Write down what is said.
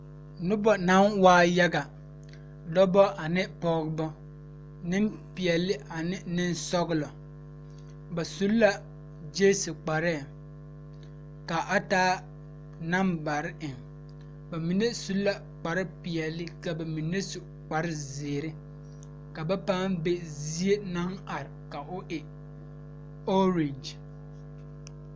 Noba naŋ waa yaga Nenpeɛle ane nensɔglaa ba su la gyase kparre ka a taa nanbare bamine su la kpare peɛle ka bamine su kpare ziiri ka paa ba ziɛ ka o e oroge.